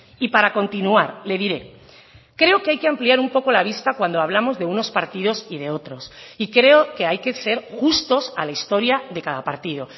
y para continuar le diré creo que hay que ampliar un poco la vista cuando hablamos de unos partidos y de otros y creo que hay que ser justos a la historia de cada partido